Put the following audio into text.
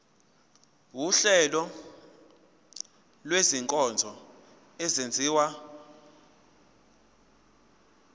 wuhlengo lwezinkonzo ezenziwa